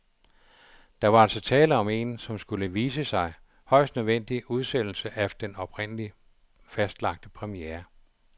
Der var altså tale om en, som det skulle vise sig, højst nødvendig udsættelse af den oprindeligt fastlagte premiere.